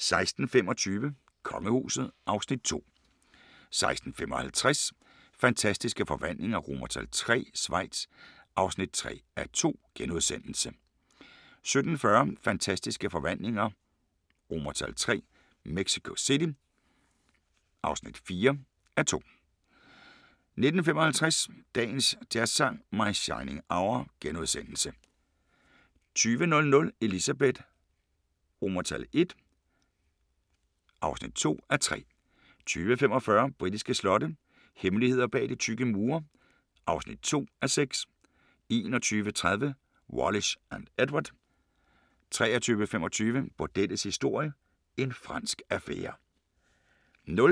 16:25: Kongehuset (Afs. 2) 16:55: Fantastiske Forvandlinger III – Schweiz (3:2)* 17:40: Fantastiske Forvandlinger III – Mexico City (4:2) 19:55: Dagens Jazzsang: My Shining Hour * 20:00: Elizabeth I (2:3) 20:45: Britiske slotte – hemmeligheder bag de tykke mure (2:6) 21:30: Wallis & Edward 23:25: Bordellets historie – en fransk affære